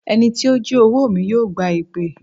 Ẹni tí ó jí owó mi yóò gba èpè.